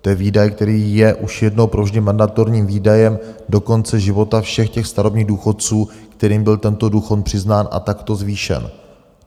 To je výdaj, který je už jednou provždy mandatorním výdajem do konce života všech těch starobních důchodců, kterým byl tento důchod přiznán a takto zvýšen.